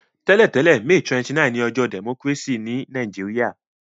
Tẹ́lẹ̀tẹ̀lẹ́, May 29 ni ojọ́ democracy ni Naijiria